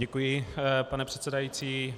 Děkuji, pane předsedající.